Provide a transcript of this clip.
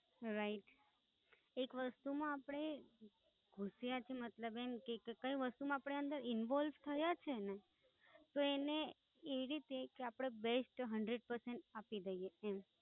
Right એક વસ્તુમાં આપણે હોશિયાર છીએ, મતલબ એમકે કે કઈ વસ્તુમાં આપણે અંદર Involve થયા છીએ ને, તો એને એ રીતે કે આપણે est hundred percent આપી દઈએ એમ.